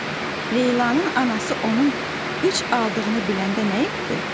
B. Leylanın anası onun üç aldığını biləndə nə etdi?